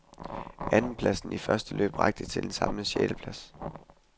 Andenpladsen i første løb rakte til en samlet sjetteplads.